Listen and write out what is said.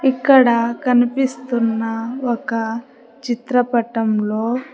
ఇక్కడ కనిపిస్తున్న ఒక చిత్రపటంలో--